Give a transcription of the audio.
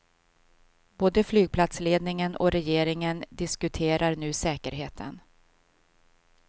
Både flygplatsledningen och regeringen diskuterar nu säkerheten.